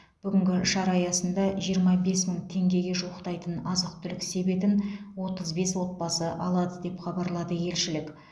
бүгінгі шара аясында жиырма бес мың теңгеге жуықтайтын азық түлік себетін отыз бес отбасы алады деп хабарлады елшілік